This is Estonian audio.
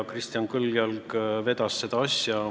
Kristjan Kõljalg vedas seda asja.